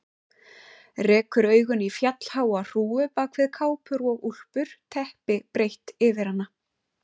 Rekur augun í fjallháa hrúgu bak við kápur og úlpur, teppi breitt yfir hana.